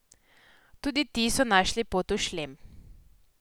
Tudi ti so našli pot v šlem.